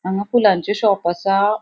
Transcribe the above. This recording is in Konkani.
हांगा फुलांचे शॉप असा.